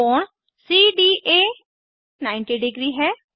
कोण सीडीए 900 है